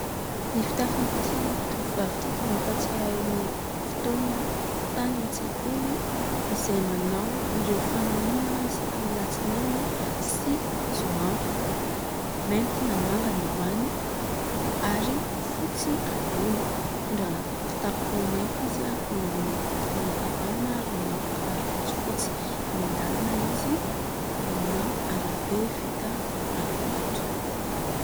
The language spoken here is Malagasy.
Ny fitafin'ity tovovavy ity dia mampahatsiahy ahy ny fotoana tany an-tsekoly izay manao ireo fanamiana isaky ny latsinainy sy zoma. Mainty na manga ny ambany ary fotsy ambony. Mitondra kitapo mainty izy eo amin'ny tanany ankavanana ary manao kiraro fotsifotsy, eny an-dalana izy amina arabe vita rarivato.